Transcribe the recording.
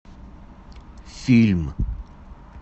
фильм